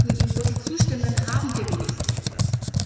Wir sollten ihm wirklich zustimmen, dann haben wir wenigstens etwas!